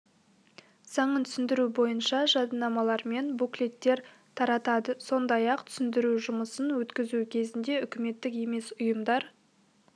заңын түсіндіру бойынша жадынамалар мен буклеттер таратады сондай-ақ түсіндіру жұмысын өткізу кезінде үкіметтік емес ұйымдар